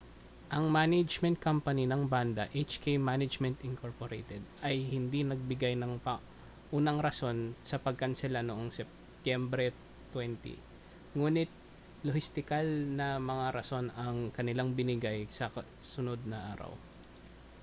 ang management company ng banda hk management inc ay hindi nagbigay ng paunang rason sa pagkansela noong setyembre 20 ngunit lohistikal na mga rason ang kanilang ibinigay sa kasunod na araw